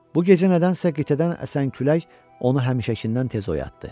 Bu gecə nədənsə qitədən əsən külək onu həmişəkindən tez oyatdı.